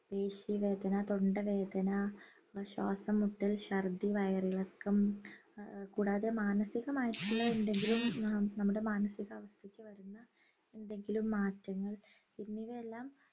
പേശി വേദന തൊണ്ട വേദന ശ്വാസംമുട്ടൽ ശർദ്ദി വയറിളക്കം ഏർ കൂടാതെ മനസികമായിട്ടുള്ള എന്തെങ്കിലും നമ്മുടെ മാനസികാവസ്ഥയ്ക്ക് വരുന്ന എന്തെങ്കിലും മാറ്റങ്ങൾ എന്നിവയെല്ലാം